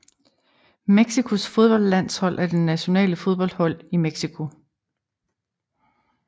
Mexicos fodboldlandshold er det nationale fodboldhold i Mexico